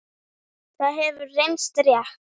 Það hefur reynst rétt.